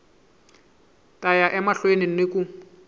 ta ya emahlweni ni ku